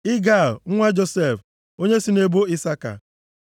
Igal nwa Josef, onye si nʼebo Isaka.